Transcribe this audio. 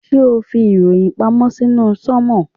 Ṣé ẹ̀ ń fi ìròyìn pamọ́ sínú sánmọ̀.